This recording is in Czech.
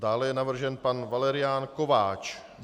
Dále je navržen pan Valerián Kováč.